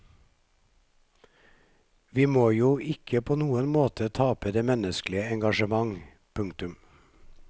Vi må jo ikke på noen måte tape det menneskelige engasjementet. punktum